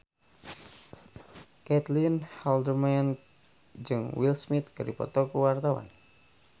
Caitlin Halderman jeung Will Smith keur dipoto ku wartawan